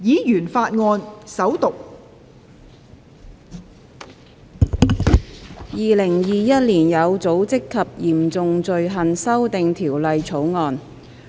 《2021年有組織及嚴重罪行條例草案》。